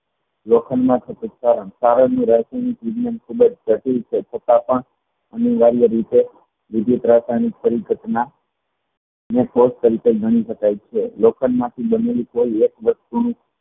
લોખંડ ના કારણ રાસાયણિક વિગનયન ખુબજ જટિલ છે છતાં પણ અનિવારિયા રીતે વિદ્યુત રાસાયણિક પરી ઘટના ગણી શકાય છે લોખંડના